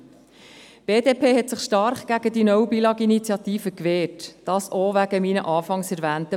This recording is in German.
Die BDP hat sich stark gegen die «No Billag»-Initiative gewehrt, auch wegen der Punkte, die ich anfangs erwähnt habe.